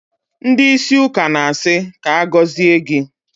Ndị ísí ụka na-asị, "ka agọzie gị"